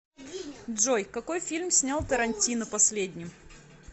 джой какои фильм снял тарантино последним